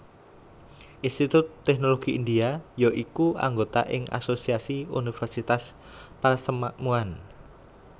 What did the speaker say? Institut Teknologi India ya iku anggota ing Asosiasi Universitas Persemakmuran